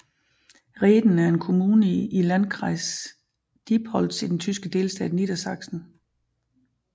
Rehden er en kommune i i Landkreis Diepholz i den tyske delstat Niedersachsen